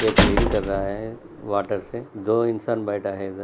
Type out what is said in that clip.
ये क्लीन कर रहा है वॉटर से दो इंसान बैठा है इधर।